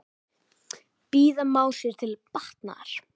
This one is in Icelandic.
Bíða má sér til batnaðar.